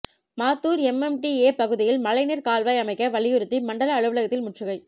Mathur MMDA பகுதியில் மழைநீர் கால்வாய் அமைக்க வலியுறுத்தி மண்டல அலுவலகத்தில் முற்றுகை